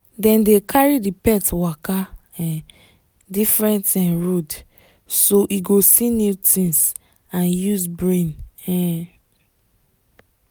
dem dey carry the pet waka um different um road so e go see new things and use brain um